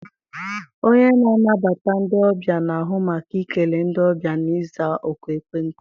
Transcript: Onye na-anabata ndị ọbịa na-ahụ maka ikele ndị ọbịa na ịza oku ekwentị.